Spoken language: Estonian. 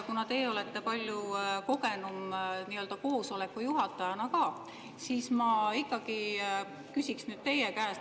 Kuna teie olete palju kogenum koosoleku juhatajana, siis ma ikkagi küsiks nüüd teie käest.